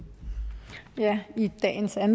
er